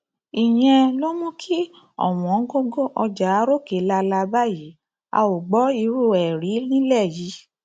ìyẹn ló mú kí ọwọngọgọ ọjà ròkè lálá ròkè lálá báyìí a ò gbọ irú ẹ rí nílẹ yìí